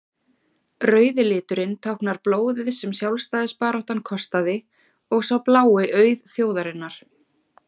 rauði liturinn táknar blóðið sem sjálfstæðisbaráttan kostaði og sá blái auð þjóðarinnar